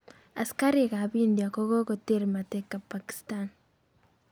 Askarik ap india kokoter mateka pakistan